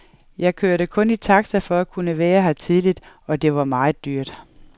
Jeg kørte kun i taxa for at kunne være her tidligt, og det var meget dyrt.